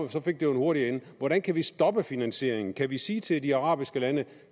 så fik det jo hurtigt ende hvordan kan vi stoppe finansieringen kan vi sige til de arabiske lande